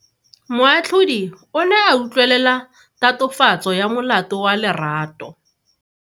Moatlhodi o ne a utlwelela tatofatso ya molato wa Lerato.